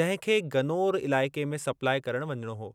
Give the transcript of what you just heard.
जंहिं खे गनोर इलाइक़े में सप्लाई करण वञिणो हो।